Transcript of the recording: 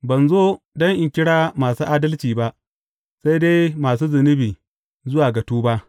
Ban zo don in kira masu adalci ba, sai dai masu zunubi zuwa ga tuba.